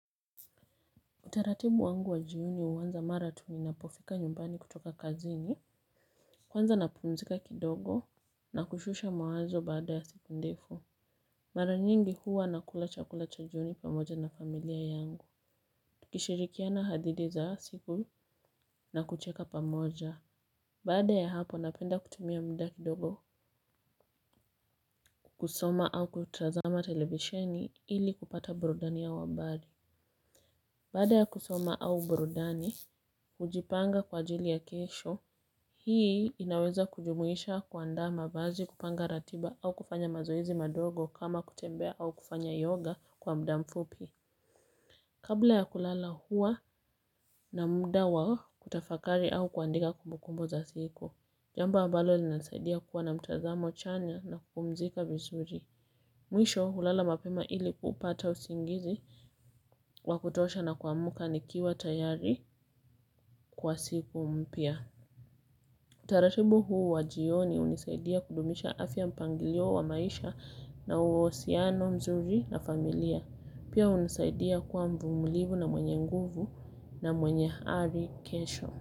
Utaratibu wangu wa jioni uwanza mara tu ninapofika nyumbani kutoka kazini. Kwanza napumzika kidogo na kushusha mawazo baada ya siku ndefu. Maranyingi huwa nakula chakula cha jioni pamoja na familia yangu. Tukishirikiana hadithi za siku na kucheka pamoja. Baada ya hapo napenda kutumia mda kidogo kusoma au kutazama televisheni ili kupata burudani ya wabari. Baada ya kusoma au burudani, hujipanga kwa ajili ya kesho, hii inaweza kujumuisha kuandama mavazi kupanga ratiba au kufanya mazoezi madogo kama kutembea au kufanya yoga kwa mda mfupi. Kabla ya kulala hua na muda wa kutafakari au kuandika kumbukumbu za siku, jambo ambalo linasaidia kuwa na mtazamo chanya na kupumzika vizuri. Mwisho, ulala mapema ili kupata usingizi, wakutosha na kuamka nikiwa tayari. Kwa siku mpya. Utaratibu huu wajioni unisaidia kudumisha afya mpangilio wa maisha na usiano mzuri na familia. Pia unisaidia kuwa mvumilivu na mwenye nguvu na mwenye hali kesho.